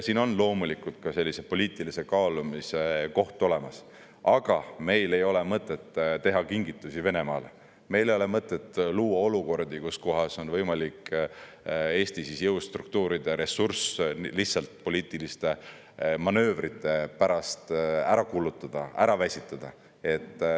Siin on loomulikult ka poliitilise kaalumise koht olemas, aga meil ei ole mõtet teha kingitusi Venemaale, meil ei ole mõtet luua olukordi, kus kohas on võimalik Eesti jõustruktuuride ressurss lihtsalt poliitiliste manöövrite pärast ära kulutada, ära väsitada.